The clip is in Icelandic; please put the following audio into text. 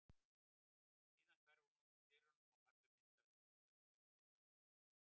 Síðan hverfur hún út úr dyrunum en falleg mynd af henni stendur eftir dálitla stund.